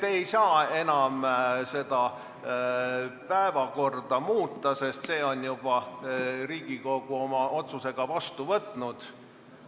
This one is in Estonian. Ei, te ei saa seda päevakorda enam muuta, sest selle on Riigikogu oma otsusega juba vastu võtnud.